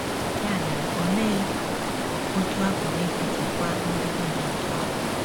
Ya mere, olee otú a pụrụ isi chịkwaa mmetụta dị otú ahụ?